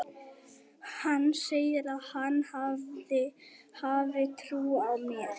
Hann segir að hann hafi trú á mér.